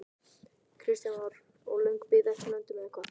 Kristján Már: Og löng bið eftir löndun eða hvað?